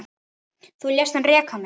Þú lést hann reka mig